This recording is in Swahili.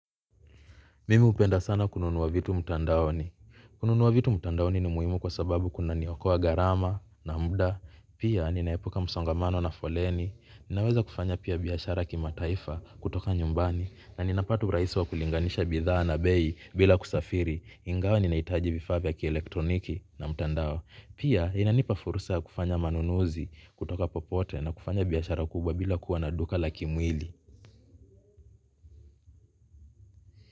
Mimi upenda sana kununua vitu mtandaoni. Kununua vitu mtandaoni ni muhimu kwa sababu kuna niokoa garama na mda. Pia ni naepuka msongamano na foleni. Ninaweza kufanya pia biashara kima taifa kutoka nyumbani. Na ninapata urahisi wa kulinganisha bidhaa na bei bila kusafiri. Ingawa ni naitaji vifaa vya ki elektroniki na mtandao. Pia inanipa fursa ya kufanya manunuzi kutoka popote na kufanya biashara kubwa bila kuwa na duka la kimwili.